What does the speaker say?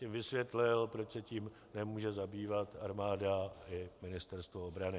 Tím vysvětlil, proč se tím nemůže zabývat armáda i Ministerstvo obrany.